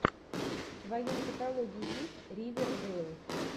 в твоем каталоге есть ривердэйл